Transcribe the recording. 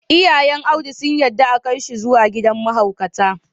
Iyayn Audu sun yadda a Kai shi zuwa gidan mahaukatai.